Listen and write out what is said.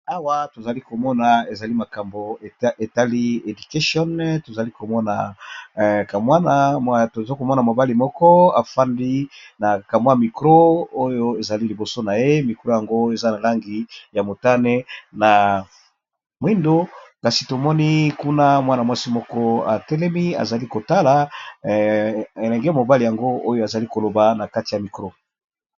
Awa tozali ko mona ezali makambo etali education toza kovmona mobali moko acfandi na ka mwa micro oyo ezali liboso na ye, micro yango eza na langi ya motane na mwindo, kasi to moni kuna mwana mwasi moko a telemi a zali ko tala elenge mobali yango oyo a zali ko loba na kati ya micro .